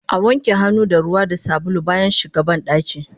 Awanke hannu da ruwa da sabulu bayan shiga bandaki